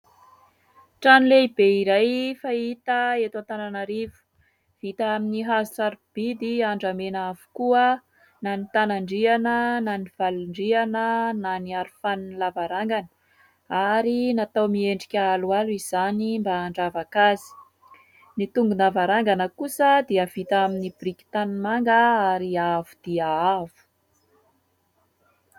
Trano lehibe iray fahita eto Antananarivo. Vita amin'ny hazo sarobidy Andramena avokoa na ny tanandrihana, na ny valindrihana, na ny arofanin'ny lavarangana, ary natao miendrika aloalo izany mba handravaka azy; ny tongo-davarangana kosa dia vita amin'ny biriky tany manga ary avo dia avo.